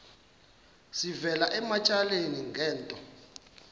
sivela ematyaleni ngento